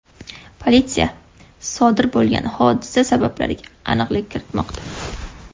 Politsiya sodir bo‘lgan hodisa sabablariga aniqlik kiritmoqda.